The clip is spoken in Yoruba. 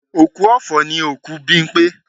Òkú ọ̀fọ̀ ni òkú Bímpé